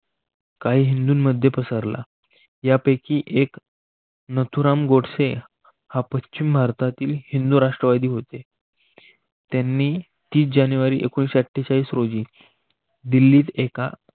काही हिंदूंमध्ये पसरला यापैकी एक नथुराम गोडसे हा पश्चिम भारतातील हिंदू राष्ट्रवादी होते. त्यांनी तीस जानेवारी एकोणविससेआठेचाळीस रोजी दिल्लीत एका